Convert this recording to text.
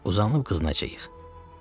Uzanıb qızınacağıq.”